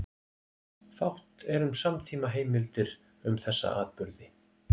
Fátt er um samtímaheimildir um þessa atburði.